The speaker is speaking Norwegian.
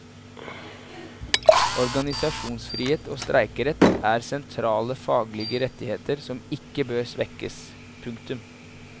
Organisasjonsfrihet og streikerett er sentrale faglige rettigheter som ikke bør svekkes. punktum